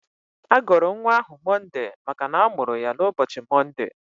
A gọrọ nwa ahụ Mọnde maka na a mụrụ ya n'ụbọchị Mọnde.